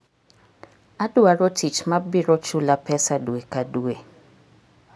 Adwaro tich ma biro chula pesa dwe ka dwe.